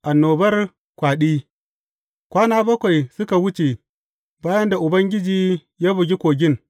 Annobar kwaɗi Kwana bakwai suka wuce bayan da Ubangiji ya bugi kogin.